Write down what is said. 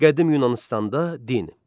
Qədim Yunanıstanda din.